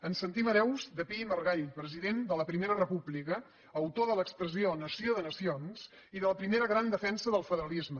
ens sentim hereus de pi i margall president de la primera república autor de l’expressió nació de nacions i de la primera gran defensa del federalisme